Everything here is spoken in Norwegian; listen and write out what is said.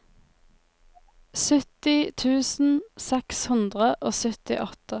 sytti tusen seks hundre og syttiåtte